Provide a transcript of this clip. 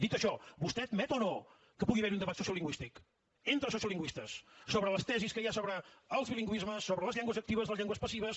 dit això vostè admet o no que pugui haver hi un debat sociolingüístic entre sociolingüistes sobre les tesis que hi ha sobre els bilingüismes sobre les llengües actives les llengües passives